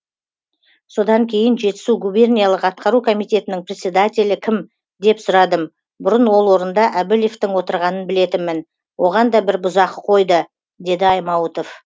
содан кейін жетісу губерниялық атқару комитетінің председательі кім деп сұрадым бұрын ол орында әбілевтің отырғанын білетінмін оған да бір бұзақы қойды деді аймауытов